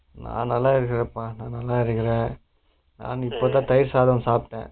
நா நல்லா இருக்குறேன்ப்பா நல்லா இருக்குறே நான் இப்பதா தயிர் சாதம் சாபிட்டே